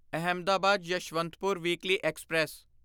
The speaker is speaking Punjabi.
Ahmedabad Yesvantpur weekly express